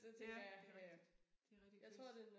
Ja det rigtigt det rigtig hvis